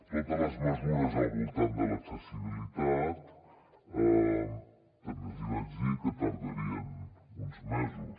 totes les mesures al voltant de l’accessibilitat també els hi vaig dir que tardarien uns mesos